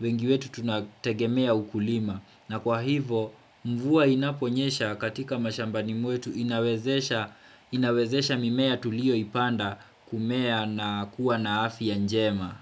wengi wetu tunategemea ukulima. Na kwa hivyo, mvua inaponyesha katika mashambani mwetu inawezesha mimea tuliyo ipanda kumea na kuwa na afya njema.